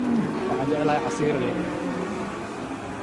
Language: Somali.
Waxaan jeclahay casiir liin.